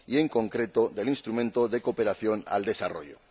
en concreto, del instrumento de cooperación al desarrollo.